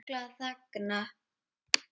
Fuglar þagna.